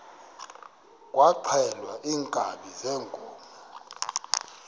kwaxhelwa iinkabi zeenkomo